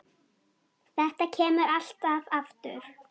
Þetta kemur alltaf aftur.